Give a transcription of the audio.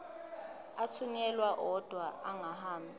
athunyelwa odwa angahambi